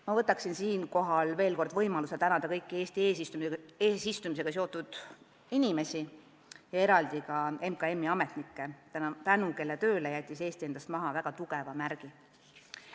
Ma kasutan siinkohal veel kord võimalust tänada kõiki Eesti eesistumisega seotud inimesi ja eraldi ka MKM-i ametnikke, tänu kellele jättis Eesti endast maha väga tugeva märgi.